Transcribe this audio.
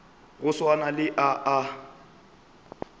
go swana le a a